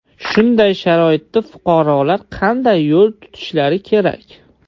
Shunday sharoitda fuqarolar qanday yo‘l tutishlari kerak?